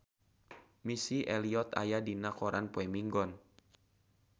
Missy Elliott aya dina koran poe Minggon